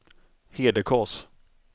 Hedekas